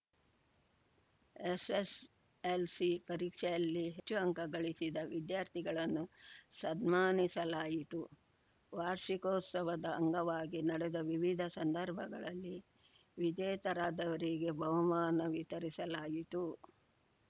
SSLC ಪರೀಕ್ಷೆಯಲ್ಲಿ ಹೆಚ್ಚು ಅಂಕ ಗಳಿಸಿದ ವಿದ್ಯಾರ್ಥಿಗಳನ್ನು ಸನ್ಮಾನಿಸಲಾಯಿತು ವಾರ್ಷಿಕೋತ್ಸವದ ಅಂಗವಾಗಿ ನಡೆದ ವಿವಿಧ ಸಂಧರ್ಭಗಳಲ್ಲಿ ವಿಜೇತರಾದವರಿಗೆ ಬಹುಮಾನ ವಿತರಿಸಲಾಯಿತು